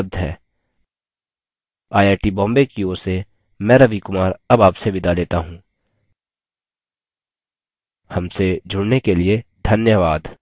I I T Bombay की ओर से मैं रवि कुमार अब आपसे विदा लेता हूँ हमसे जुड़ने के लिए धन्यवाद